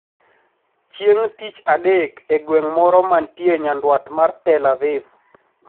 Chieng` Tich Adek e gweng` moro mantie nyandwat mar Tel Aviv,